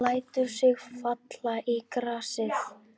Hún lætur sig falla í grasið.